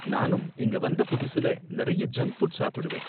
நானும் இங்க வந்த புதுசுல நிறைய ஜங்க் ஃபுட் சாப்பிடுவேன்